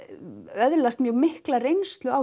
öðlast mjög mikla reynslu á